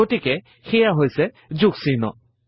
গতিকে সেইয়া হৈছে যোগ চিহ্ন